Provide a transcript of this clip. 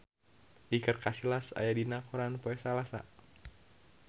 Iker Casillas aya dina koran poe Salasa